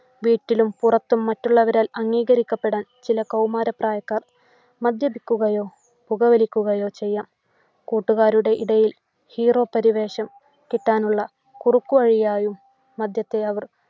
വീട്ടിലും പുറത്തും മറ്റുള്ളവരാൽ അംഗീകരിക്കപ്പെടാൻ ചില കൗമാരപ്രായക്കാർ മദ്യപിക്കുകയോ പുകവലിക്കുകയോ ചെയ്യാം. കൂട്ടുകാരുടെ ഇടയിൽ hero പരിവേഷം കിട്ടാനുള്ള കുറുക്കു വഴിയായി മദ്യത്തെ അവർ